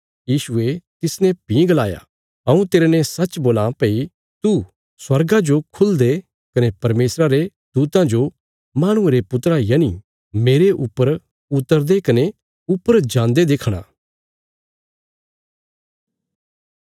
यीशुये तिसने भीं गलाया हऊँ तेरने सच्च बोलां भई तूं स्वर्गा जो खुलदे कने परमेशरा रे दूतां जो माहणुये रे पुत्रा यनि मेरे ऊपर उतरदे कने ऊपर जान्दे देखणा